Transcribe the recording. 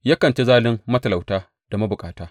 Yakan ci zalin matalauta da mabukata.